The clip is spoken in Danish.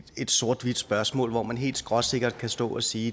et sort hvidt spørgsmål hvor man helt skråsikkert kan stå at sige